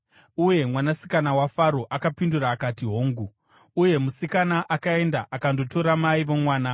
Uye mwanasikana waFaro akapindura akati, “Hongu.” Uye musikana akaenda akandotora mai vomwana.